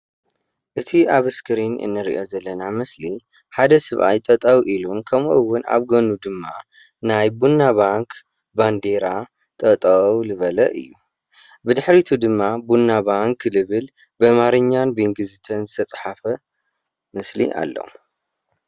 እቲ ኣብ ስክሪን እንርእዮ ዘለና ምስሊ ሓደ ሰብኣይ ጠጠው ኢሉ ከምኡ እውን ኣብ ጎኑ ድማ ናይ ቡና ባንክ ባንዴራ ጠጠው ልበለ እዩ ብድሕሪቱ ድማ ቡና ባንክ ልብል ብኣማርኛን ቢኢንግሊዘኛን ዝተፅሓፈ ምስሊ ኣሎ።